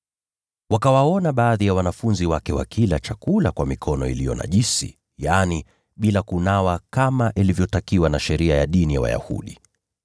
Wakawaona baadhi ya wanafunzi wake wakila chakula kwa mikono iliyo najisi, yaani, bila kunawa kama ilivyotakiwa na sheria ya dini ya Wayahudi.